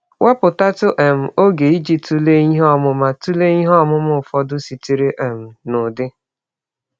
Wepụtatụ um ọge iji tụlee ihe ọmụma tụlee ihe ọmụma ụfọdụ sitere um na Udi.